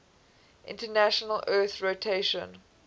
international earth rotation